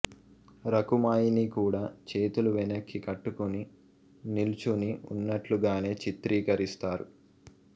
రకుమాయిని కూడా చేతులు వెనక్కి కట్టుకుని నిలుచుని ఉన్నట్లుగానే చిత్రీకరిస్తారు